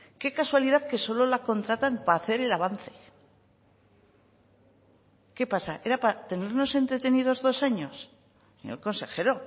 qué casualidad que solo la contratan para hacer el avance qué pasa era para tenernos entretenidos dos años señor consejero